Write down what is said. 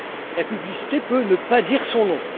La publicité peut ne pas dire son nom.